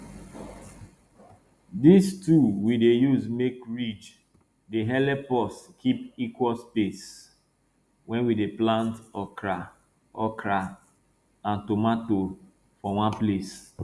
dis tool we dey use make ridge dey helep us keep equal space wen we dey plant okra okra an tomato for one place